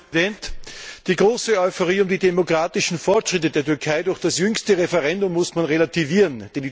Herr Präsident! Die große Euphorie um die demokratischen Fortschritte der Türkei durch das jüngste Referendum muss man relativieren.